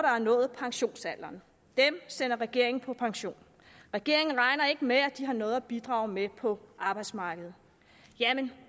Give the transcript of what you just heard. har nået pensionsalderen dem sender regeringen på pension regeringen regner ikke med at de har noget at bidrage med på arbejdsmarkedet jamen